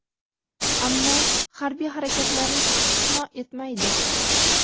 ammo harbiy harakatlarni istisno etmaydi.